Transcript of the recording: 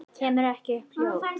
Kem ekki upp hljóði.